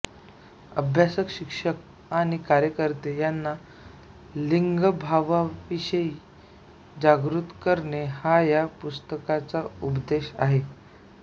अभ्यासक शिक्षक आणि कार्यकर्ते यांना लिंगभावाविषयी जागृत करणे हा या पुस्तकाचा उद्देश आहे